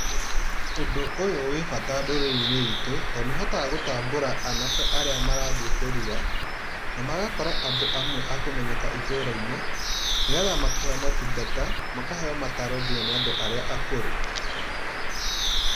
Ũndũ ũyũ wĩ bata ndũrĩrĩinĩ itũ, tondũ nĩũhotaga gũtambũra aanake arĩa marathiĩ kũrua. Na magakorwo andũ amwe akũmenyeka itũũrainĩ, nĩgetha makĩheo maũtungata, makaheo mataaro nginya nĩ andũ arĩa akũrũ.